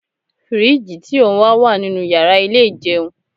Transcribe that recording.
Firiji ti o n wa wa ninu yara ile ijeun